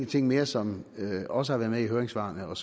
ting mere som også har været med i høringssvarene og